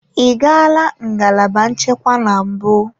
Ị gala ngalaba nchekwa na mbụ?